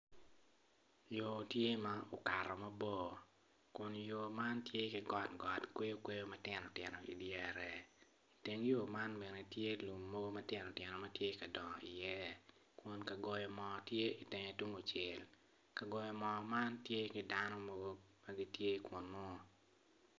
Yo tye ma okato mabor kun yo man tye ki kweyo matino tino i dyere teng yo man bene tye ki lum mogo ma tino tino ma tye ka dongo i ye.